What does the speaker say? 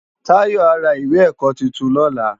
Tayo á rá iwé èkò tútún lòlá